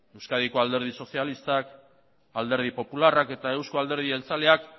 euskadiko alderdi sozialistak alderdi popularrak eta eusko alderdi jeltzaleak